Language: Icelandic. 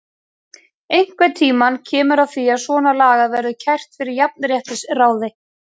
Einhvern tímann kemur að því að svona lagað verður kært fyrir jafnréttisráði.